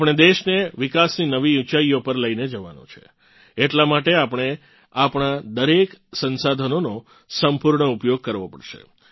આપણે દેશને વિકાસની નવી ઊંચાઇઓ પર લઇને જવાનો છે એટલા માટે આપણે આપણા દરેક સંસાધનોનો સંપૂર્ણ ઉપયોગ કરવો પડશે